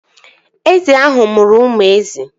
Ezi ahụ mụrụ ụmụ ezi